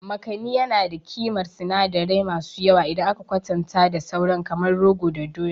Makani yana da ƙimar sinadirai masu yawa idan aka kwatanta da sauran kamar rogo da doya.